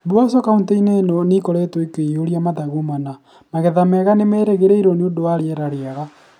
Mboco Kauntĩ-ĩnĩ ĩno nĩ ikoretwo ikĩiyũra mathangũ mana. Magetha mega nĩ marerĩgĩrĩrũo nĩ ũndũ wa rĩera rĩega